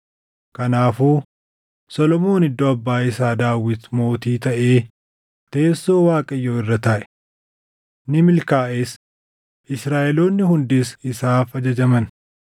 Kanaafuu Solomoon iddoo abbaa isaa Daawit mootii taʼee teessoo Waaqayyoo irra taaʼe. Ni milkaaʼes; Israaʼeloonni hundis isaaf ajajaman.